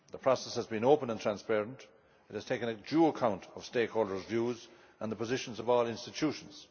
The process has been open and transparent, and has taken due account of stakeholders' views and the positions of all institutions.